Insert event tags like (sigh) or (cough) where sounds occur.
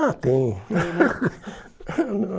Ah, tem. (laughs)